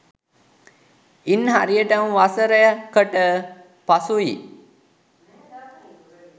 ඉන් හරියටම වසර කට පසුයි